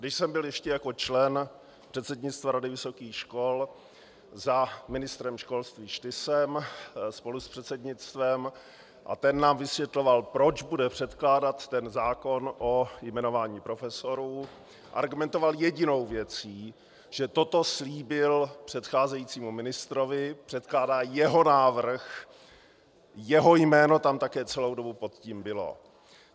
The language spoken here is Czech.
Když jsem byl ještě jako člen předsednictva Rady vysokých škol za ministrem školství Štysem spolu s předsednictvem a ten nám vysvětloval, proč bude předkládat ten zákon o jmenování profesorů, argumentoval jedinou věcí, že toto slíbil předcházejícímu ministrovi, předkládá jeho návrh, jeho jméno tam také celou dobu pod tím bylo.